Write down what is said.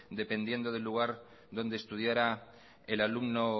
dependiendo del lugar donde estudiara el alumno